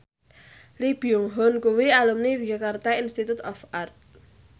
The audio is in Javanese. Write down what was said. Lee Byung Hun kuwi alumni Yogyakarta Institute of Art